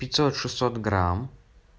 пятьсот шестьсот грамм